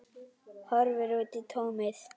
Horfir út í tómið.